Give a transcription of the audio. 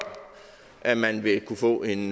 at man vil kunne få en